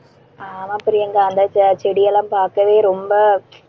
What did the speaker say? ஆமா பிரியங்கா அந்த ச~ செடியெல்லாம் பார்க்கவே ரொம்ப,